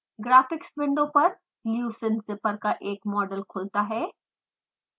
graphics window पर leucine zipper का एक मॉडल खुलता है